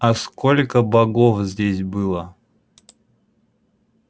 а сколько богов здесь было